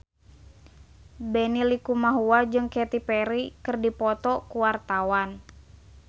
Benny Likumahua jeung Katy Perry keur dipoto ku wartawan